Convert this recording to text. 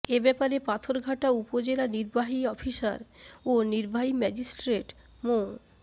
এ ব্যাপারে পাথরঘাটা উপজেলা নির্বাহী অফিসার ও নির্বাহী ম্যাজিস্ট্রেট মো